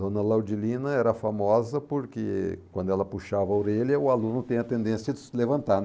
Dona Laudilina era famosa porque quando ela puxava a orelha o aluno tinha a tendência de se levantar.